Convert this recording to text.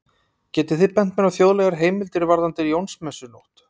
Getið þið bent mér á þjóðlegar heimildir varðandi Jónsmessunótt?